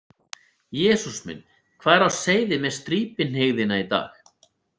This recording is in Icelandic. Jesús minn, hvað er á seyði með strípihneigðina í dag?